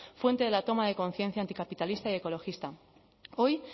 fuente de la toma de conciencia anticapitalista y ecologista hoy